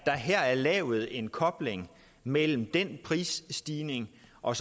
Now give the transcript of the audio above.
er her lavet en kobling mellem den prisstigning og